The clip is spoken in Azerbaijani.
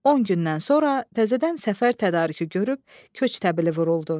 On gündən sonra təzədən səfər tədarükü görüb köç təbili vuruldu.